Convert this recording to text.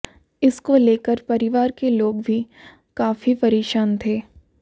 इसको लेकर परिवार के लोग भी काफी परेशान थे